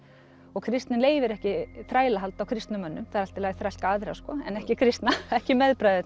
og kristnin leyfir ekki þrælahald á kristnum mönnum það er allt í lagi að þrælka aðra en ekki kristna ekki